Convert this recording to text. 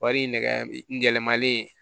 Wari in nɛgɛ gɛlɛmalen